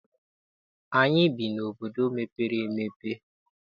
Anyị bi n'obodo mepere emepe.